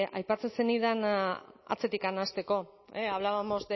aipatzen zenidan atzetik hasteko hablábamos